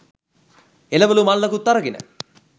එළවළු මල්ලකුත් අරගෙන